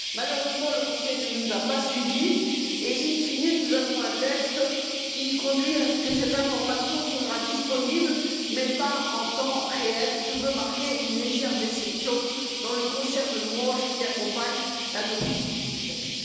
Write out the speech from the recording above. Malheureusement, le Conseil ne nous a pas suivis et, in fine nous avons un texte qui conduit à ce que cette information sera disponible, mais pas en temps réel, et je veux marquer une légère déception dans le concert de louanges qui accompagne l'adoption de ce texte.